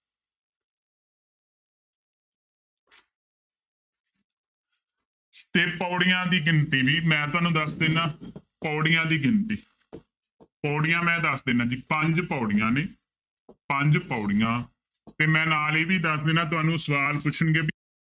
ਤੇ ਪਾਉੜੀਆਂ ਦੀ ਗਿਣਤੀ ਵੀ ਮੈਂ ਤੁਹਾਨੂੰ ਦੱਸ ਦਿਨਾ ਪਾਉੜੀਆਂ ਦੀ ਗਿਣਤੀ ਪਾਉੜੀਆਂ ਮੈਂ ਦੱਸ ਦਿਨਾ ਜੀ ਪੰਜ ਪਾਉੜੀਆਂ ਨੇ ਪੰਜ ਪਾਉੜੀਆਂ ਤੇ ਮੈਂ ਨਾਲ ਇਹ ਵੀ ਦੱਸ ਦਿਨਾ ਤੁਹਾਨੂੰ ਸਵਾਲ ਪੁੱਛਣਗੇ ਵੀ